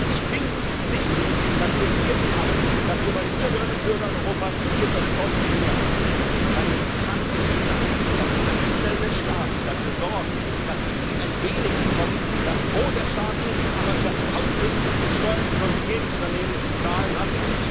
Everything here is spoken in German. Ich bin sicher, dass wir hier im Haus, bei den Bürgerinnen und Bürgern Europas hierfür eine deutliche Mehrheit bekommen denn es kann nicht sein, dass einzelne Staaten dafür sorgen, dass sie ein wenig bekommen, das Gros der Staaten aber überhaupt nichts an Steuern, die sonst jedes Unternehmen zu zahlen hat.